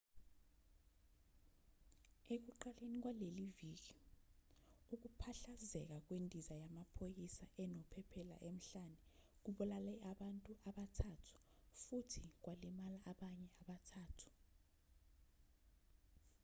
ekuqaleni kwaleli viki ukuphahlazeka kwendiza yamaphoyisa enophephela emhlane kubulale abantu abathathu futhi kwalimaza abanye abathathu